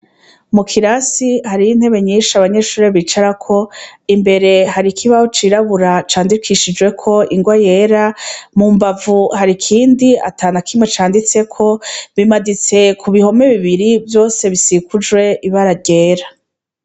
Mu kirasi hariyo intebe nyinshi abanyeshuri bicarako imbere hari ikibaho cirabura candikishijweko inrwa yera mu mbavu hari ikindi atanakimwe canditseko bimaditse ku bihome bibiri vyose bisikujwe ibararyera.